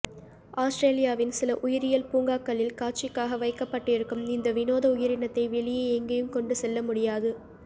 ஆஸ்திரேலியாவின் சில உயிரியல் பூங்காக்களில் காட்சிக்காக வைக்கப்பட்டிருக்கும் இந்த விநோத உயிரினத்தை வெளியே எங்கேயும் கொண்டு செல்ல முடியாது